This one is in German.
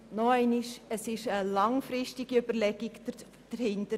Aber es steht eine langfristige Überlegung dahinter.